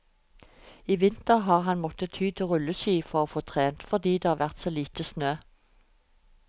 I vinter har han måttet ty til rulleski for å få trent, fordi det har vært så lite snø.